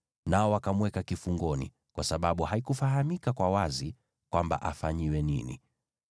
nao wakamweka kifungoni, kwa sababu haikufahamika kwa wazi kwamba afanyiwe nini.